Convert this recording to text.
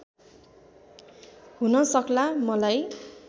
हुन सक्ला मलाई